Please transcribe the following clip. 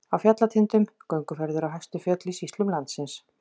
Á fjallatindum- gönguferðir á hæstu fjöll í sýslum landsins.